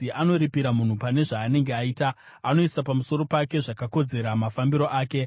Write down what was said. Anoripira munhu pane zvaanenge aita; anoisa pamusoro pake zvakakodzera mafambiro ake.